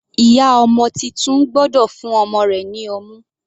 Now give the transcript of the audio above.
Ìyá ọmọ titun gbọ́dọ̀ fún ọmọ rẹ̀ ní ọmú.